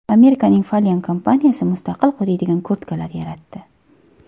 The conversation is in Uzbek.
Amerikaning Falyon kompaniyasi mustaqil quriydigan kurtkalar yaratdi.